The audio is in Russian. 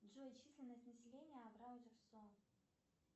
джой численность населения абрау дюрсо